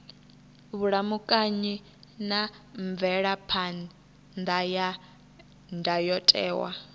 vhulamukanyi na mvelaphan ḓa ya ndayotewa